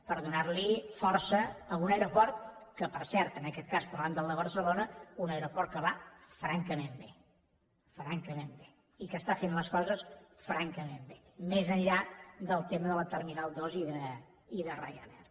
per donar li força a un aeroport que per cert en aquest cas parlant del de barcelona un aeroport que va francament bé francament bé i que està fent les coses francament bé més enllà del tema de la terminal dos i de ryanair